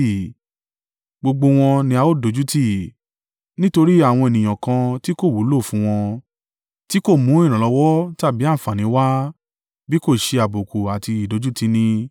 gbogbo wọn ni a ó dójútì, nítorí àwọn ènìyàn kan tí kò wúlò fún wọn, tí kò mú ìrànlọ́wọ́ tàbí àǹfààní wá, bí kò ṣe àbùkù àti ìdójúti ni.”